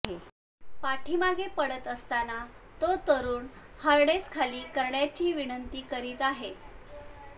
पाठीमागे पडतअसताना तो तरुण हार्नेस खाली करण्याची विनंती करीत आहे